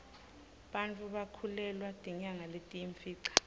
bantfu bakhulelwa tinyanga letiyimfica